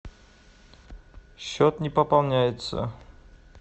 счет не пополняется